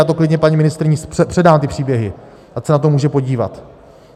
Já to klidně paní ministryni předám, ty příběhy, ať se na to může podívat.